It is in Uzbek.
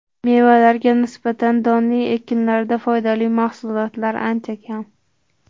Mevalarga nisbatan donli ekinlarda foydali mahsulotlar ancha kam.